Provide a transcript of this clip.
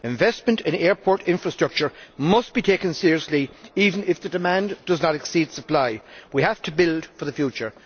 Investment in airport infrastructure must be taken seriously, even if the demand does not exceed supply. We have to build for the future.